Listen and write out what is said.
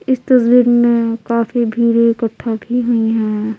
इस तस्वीर में काफी भीड़ इकट्ठा भी हुई हैं।